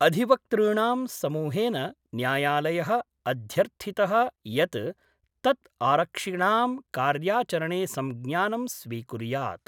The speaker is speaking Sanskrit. अधिवक्तृणां समूहेन न्यायालय: अध्यर्थित: यत् तत् आरक्षिणां कार्याचरणे संज्ञानं स्वीकुर्यात्।